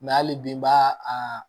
hali bi n b'a a